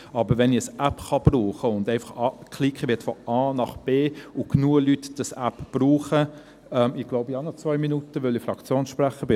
Aber wenn ich ein App verwenden und einfach anklicken kann, dass ich von A nach B möchte und genügend Leute diese App brauchen – Ich glaube, ich habe noch zwei Minuten, weil ich Fraktionssprecher bin.